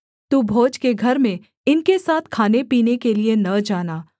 तू भोज के घर में इनके साथ खानेपीने के लिये न जाना